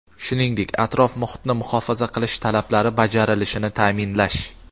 shuningdek atrof muhitni muhofaza qilish talablari bajarilishini ta’minlash.